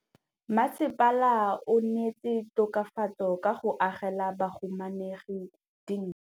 Mmasepala o neetse tokafatsô ka go agela bahumanegi dintlo.